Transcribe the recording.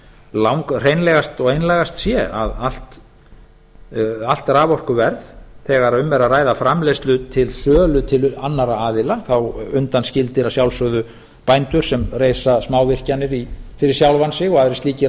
langhreinlegast og einlægast sé að allt raforkuverð þegar um er að ræða framleiðslu til sölu til annarra aðila þá undanskildir að sjálfsögðu bændur sem reisa smávirkjanir fyrir sjálfa sig og aðrir slíkir